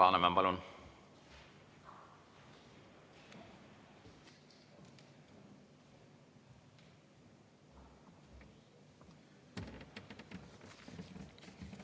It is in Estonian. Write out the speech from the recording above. Alar Laneman, palun!